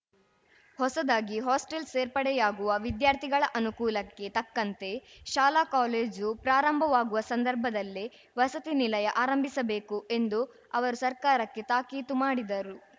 ಹೊಸದಾಗಿ ಹಾಸ್ಟೆಲ್‌ ಸೇರ್ಪಡೆಯಾಗುವ ವಿದ್ಯಾರ್ಥಿಗಳ ಅನುಕೂಲಕ್ಕೆ ತಕ್ಕಂತೆ ಶಾಲಾಕಾಲೇಜು ಪ್ರಾರಂಭವಾಗುವ ಸಂದರ್ಭದಲ್ಲೇ ವಸತಿ ನಿಲಯ ಆರಂಭಿಸಬೇಕು ಎಂದು ಅವರು ಸರ್ಕಾರಕ್ಕೆ ತಾಕೀತು ಮಾಡಿದರು